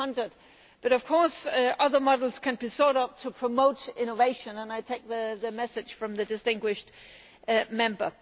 300. But of course other models can be sought out to promote innovation, and I take the message from the distinguished Member.